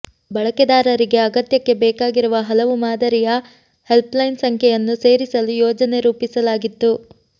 ಬಳಕೆದಾರರಿಗೆ ಅಗತ್ಯಕ್ಕೆ ಬೇಕಾಗಿರುವ ಹಲವು ಮಾದರಿಯ ಹೆಲ್ಪ್ಲೈನ್ ಸಂಖ್ಯೆಯನ್ನು ಸೇರಿಸಲು ಯೋಜನೆ ರೂಪಿಸಲಾಗಿತ್ತು